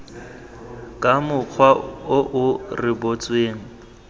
ka mokgwa o o rebotsweng